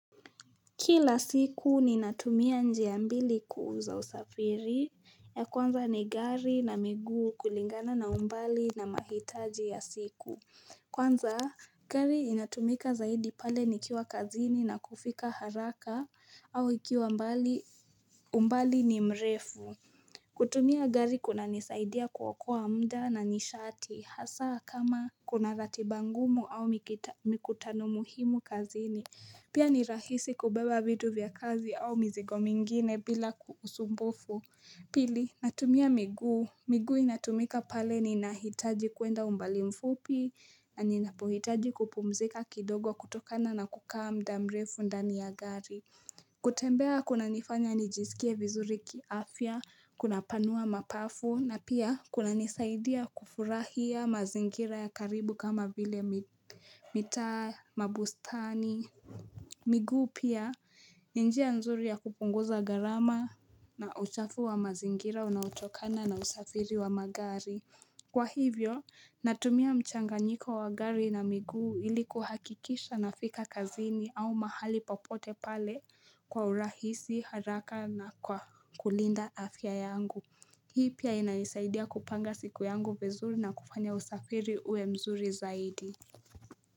Kila siku ni natumia njia mbili kuuza usafiri ya kwanza ni gari na miguu kulingana na umbali na mahitaji ya siku kwanza gari inatumika zaidi pale nikiwa kazini na kufika haraka au ikiwa umbali ni mrefu kutumia gari kuna nisaidia kuokoa mda na nishati hasa kama kuna ratibangumu au mikutano muhimu kazini Pia ni rahisi kubeba vitu vya kazi au mizigo mingine bila usumbufu. Pili, natumia miguu. Miguu inatumika pale ni nahitaji kuenda umbali mfupi. Na ninapohitaji kupumzika kidogo kutokana na kukaa mdamrefu ndani ya gari. Kutembea kuna nifanya nijisikie vizuri kiafia, kuna panua mapafu. Na pia kuna nisaidia kufurahia mazingira ya karibu kama vile mita mabustani. Miguu pia ni njia nzuri ya kupunguza garama na uchafu wa mazingira unautokana na usafiri wa magari Kwa hivyo natumia mchanga nyiko wa gari na miguu ili kuhakikisha na fika kazini au mahali popote pale kwa urahisi haraka na kwa kulinda afya yangu Hii pia inanisaidia kupanga siku yangu vizuri na kufanya usafiri uwe mzuri zaidi.